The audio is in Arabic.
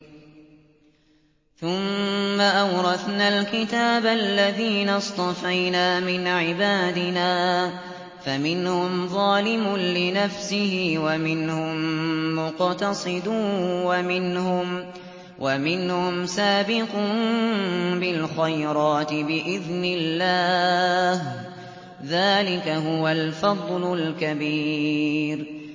ثُمَّ أَوْرَثْنَا الْكِتَابَ الَّذِينَ اصْطَفَيْنَا مِنْ عِبَادِنَا ۖ فَمِنْهُمْ ظَالِمٌ لِّنَفْسِهِ وَمِنْهُم مُّقْتَصِدٌ وَمِنْهُمْ سَابِقٌ بِالْخَيْرَاتِ بِإِذْنِ اللَّهِ ۚ ذَٰلِكَ هُوَ الْفَضْلُ الْكَبِيرُ